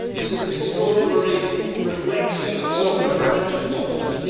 It is an extraordinarily reflexive and self referential document.